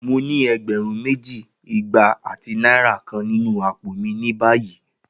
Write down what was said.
Mo ni ẹgbẹrun meji, igba ati naira kan ninu apo mi ni bayi.